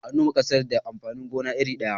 An noma ƙasar da amfanin gona iri ɗaya.